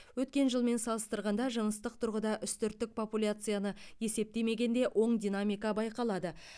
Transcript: өткен жылмен салыстырғанда жыныстық тұрғыда үстірттік популцияны есептемегенде оң динамика байқалады